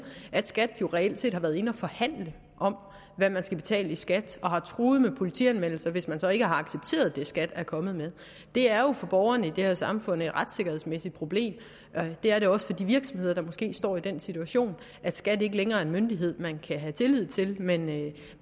at skat jo reelt set har været inde og forhandle om hvad man skal betale i skat og har truet med politianmeldelse hvis man så ikke har accepteret det skat er kommet med det er jo for borgerne i det her samfund et retssikkerhedsmæssigt problem det er det også for de virksomheder der måske står i den situation at skat ikke længere er en myndighed man kan have tillid til men